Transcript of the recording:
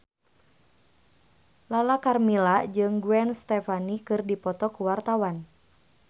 Lala Karmela jeung Gwen Stefani keur dipoto ku wartawan